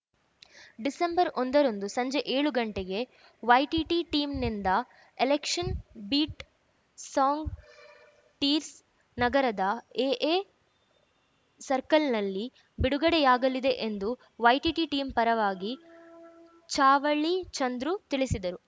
December ಒಂದರಂದು ಸಂಜೆ ಏಳು ಗಂಟೆಗೆ YTT ಟೀಮ್‌ನಿಂದ election beet song tears ನಗರದ ಎಎ ಸರ್ಕಲ್‌ನಲ್ಲಿ ಬಿಡುಗಡೆಯಾಗಲಿದೆ ಎಂದು ವೈಟಿಟಿ ಟೀಮ್‌ ಪರವಾಗಿ ಚಾವಳ್ಳಿಚಂದ್ರು ತಿಳಿಸಿದರು